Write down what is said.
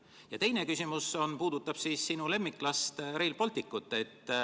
Minu teine küsimus puudutab sinu lemmiklast, Rail Balticut.